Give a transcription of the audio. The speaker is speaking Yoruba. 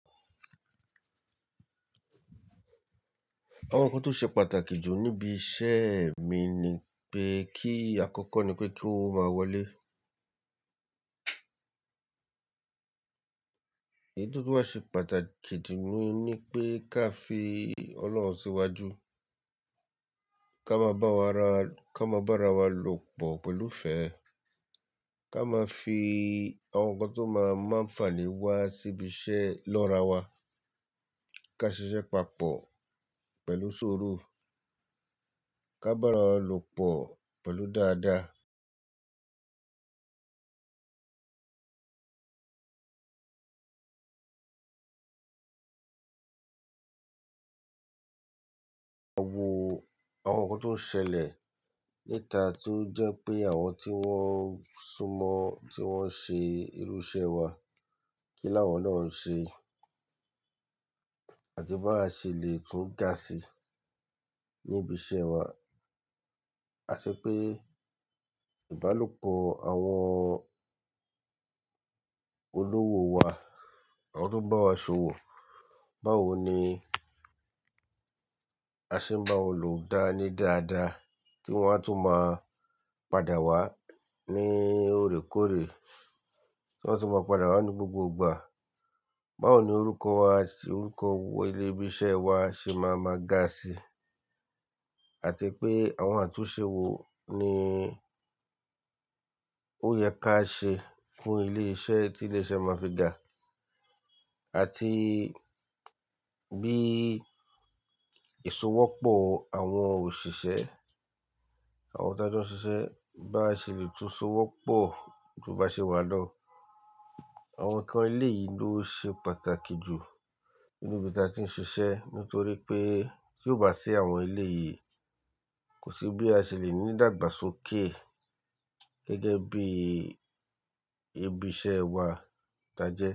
Àwọn nnkan tó ṣe pàtàkì jù níbi iṣẹ́ mi ni pé kí àkọ́kọ́ ni pé kí ó máa wọlé. Èyí tó tún wá ṣe pàtàkì jù ni ní pé ká fi Ọlọ́run síwájú, ká máa bá wa ra, ká máa bá ara wa lò pọ̀ pẹ̀lú ìfẹ́, ká máa fi àwọn nnkan tó máa máa ń fàní wá síbi iṣẹ́ lọ́rawá, ká ṣiṣẹ́ papọ̀ pẹ̀lú ṣuru, ká bá ara lò pọ̀ pẹ̀lú dáadáa. Wo àwọn nǹkan tó ń ṣẹlẹ̀ níta tó jẹ́ pé àwọn tí wọ́n sún mọ́ ti wọn ń ṣe irú iṣẹ́ wa, kí ni àwọn náà ń ṣe, àti bá ṣe lè tún gà sí níbí ṣe wà. A ṣe pé ìbálòpọ̀ àwọn olówó wa, àwọn tó ń bá wa ṣòwò, báwo ni a ṣe ń bá wọn lò dáa ní dáadáa tí wọ́n á tún máa padà wá ní òrékóre, tí wọ́n á tún máa padà wá ní gbogbogbà. Báwo ni orúkọ wa àti orúkọ ilé ibi iṣẹ́ wa ṣe máa máa ga sí àti pé àwọn àtúnṣe wo ni ó yẹ ká ṣe fún ilé iṣẹ́ tí ilé iṣẹ́ máa fi ga. Àti bí èso wọ́pọ̀ àwọn òṣìṣẹ́, àwọn tí a jọ ṣiṣẹ́ bá ṣe lè tún so wọ́pọ̀ kí ó bá ṣe wá lọ. Àwọn nnkan ilé yìí ló ṣe pàtàkì jù nínú ibi tí a ti ń ṣiṣẹ́ nítorí pé tí ò bá sí àwọn ilé yìí kò sí bí a ṣe lè ní ìdàgbàsókè gẹ́gẹ́ bí ibi iṣẹ́ wa tí a jẹ́